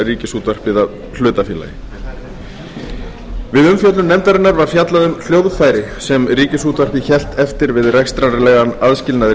ríkisútvarpið að hlutafélagi við umfjöllun nefndarinnar var fjallað um hljóðfæri sem ríkisútvarpið hélt eftir við rekstrarlegan aðskilnað